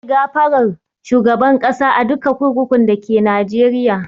Za a yi gafarar shugaban ƙasa a duka kurkukun dake Najeriya